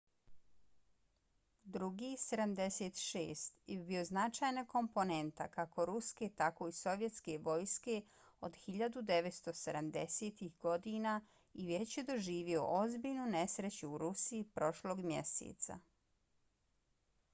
ii-76 je bio značajna komponenta kako ruske tako i sovjetske vojske od 1970-ih godina i već je doživio ozbiljnu nesreću u rusiji prošlog mjeseca